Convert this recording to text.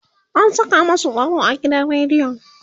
an Saka masu tsaro a gidan rediyon